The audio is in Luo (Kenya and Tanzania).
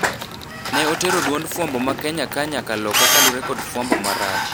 Ne otero duond fwambo ma Kenya ka nyaka loka kalure kod fwambo marach.